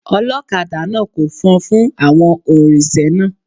Ọlọ́kadà náà ko fọn fún àwọn oǹrinsẹ̀ náà.